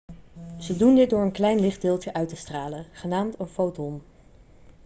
ze doen dit door een klein lichtdeeltje uit te stralen genaamd een foton'